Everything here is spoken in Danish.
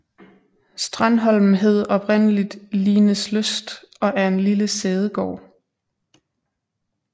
Strandholm hed oprindeligt Lineslyst og er en lille sædegård